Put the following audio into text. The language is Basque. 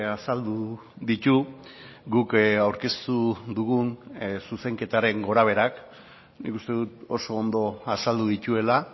azaldu ditu guk aurkeztu dugun zuzenketaren gorabeherak nik uste dut oso ondo azaldu dituela